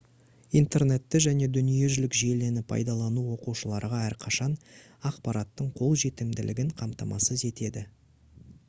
интернетті және дүниежүзілік желіні пайдалану оқушыларға әрқашан ақпараттың қолжетімділігін қамтамасыз етеді